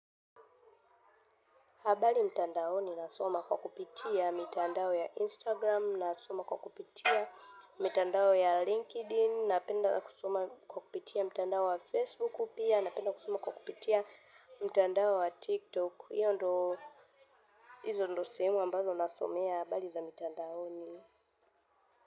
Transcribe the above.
Habari mtandaoni nasoma kwa kupitia. Mitandao ya Instagram, nasoma kwa kupitia. Mitandao ya LinkedIn, napenda na kusoma kwa kupitia. Mitandao wa Facebook pia, napenda kusoma kwa kupitia. Mitandao wa TikTok. Iyo ndo, izo ndo sehemu ambazo nasomea. Habari za mitandaoni.